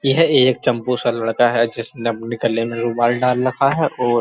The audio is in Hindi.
यह एक चंपू सा लड़का है। जिसने अपने गले में रुमाल डाल रखा है और --